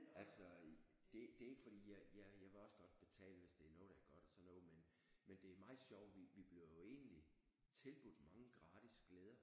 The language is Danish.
Altså det det er ikke fordi jeg jeg vil også godt betale hvis det er noget der er godt og sådan noget men det er meget sjovt vi vi bliver jo egentlig tilbudt mange gratis glæder